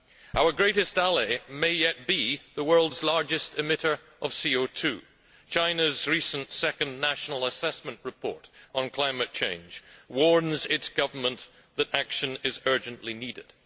Our greatest ally may yet be the world's largest emitter of CO 2 China's recent second national assessment report on climate change warns its government that action is urgently needed.